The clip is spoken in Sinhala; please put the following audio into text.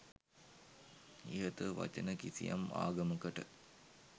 ඉහත වචන කිසියම් ආගමකට